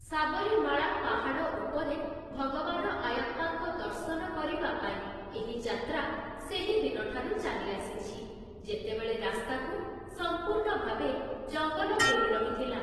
ସାବରିମାଳା ପାହାଡ଼ ଉପରେ ଭଗବାନ ଆୟାପ୍ପାଙ୍କ ଦର୍ଶନ କରିବା ପାଇଁ ଏହି ଯାତ୍ରା ସେହିଦିନଠାରୁ ଚାଲିଆସିଛି, ଯେତେବେଳେ ରାସ୍ତାକୁ ସଂପୂର୍ଣ୍ଣ ଭାବେ ଜଂଗଲ ଘେରି ରହିଥିଲା ।